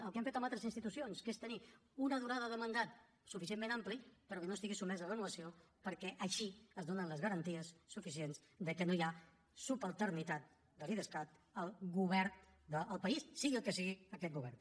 el que hem fet en altres institucions que és tenir una durada de mandat suficientment ampli però que no estigui sotmesa a renovació perquè així es donen les garanties suficients que no hi ha subalternitat de l’idescat al govern del país sigui el que sigui aquest govern